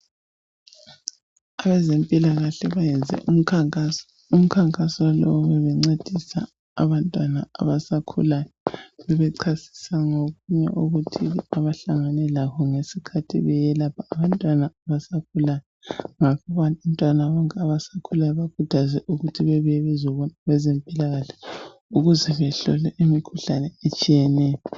abezempilakahle bayenze umkhankaso, umkhankaso lowo bebencedisa abantwana abasakhulayo bebecasisa ngokunye okuthile abahlangane lakho ngesikhathi beselapha abantwana abasakhulayo ngakho abantwana bonke abasakhulayo bakhuthazwa ukuthi bebuye bezobona abezempilakahle ukuze behlole imikhuhlane etshiyeneyo